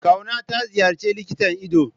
Kauna ta ziyarci likitan ido?